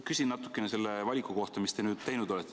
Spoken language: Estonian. Küsin natukene selle valiku kohta, mis te nüüd olete teinud.